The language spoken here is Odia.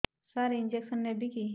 ସାର ଇଂଜେକସନ ନେବିକି